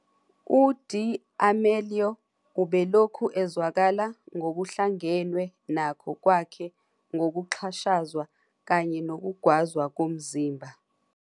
UD'Amelio ubelokhu ezwakala ngokuhlangenwe nakho kwakhe ngokuxhashazwa kanye nokugwazwa komzimba.